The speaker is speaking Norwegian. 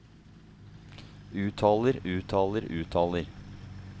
uttaler uttaler uttaler